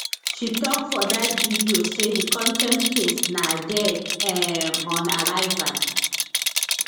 she tok for dat video say di contempt case na dead um on arrival